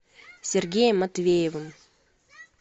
сергеем матвеевым